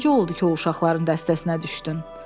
Necə oldu ki, o uşaqların dəstəsinə düşdün?